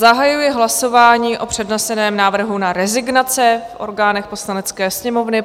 Zahajuji hlasování o předneseném návrhu na rezignace v orgánech Poslanecké sněmovny.